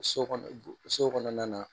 So kɔnɔ so kɔnɔna na